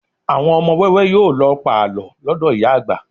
Àwọn ọmọ wẹ́wẹ́ yóò lọ pàlọ́ lọ́dọ̀ ìyá àgbà